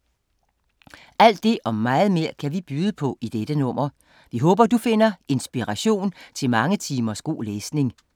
Alt det og meget mere kan vi byde på i dette nummer. Vi håber, du finder inspiration til mange timers god læsning.